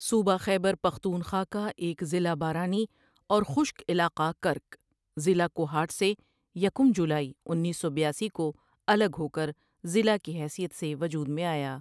صوبہ خیبر پختونخوا کا ایک ضلع بارانی اور خشک علاقہ کرک ،ضلع کوہاٹ سے یکم جولائی انیس سو بیاسی کو الگ ہو کر ضلع کی حیثیت سے وجود میں آیا ۔